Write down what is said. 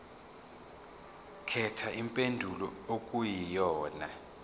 khetha impendulo okuyiyona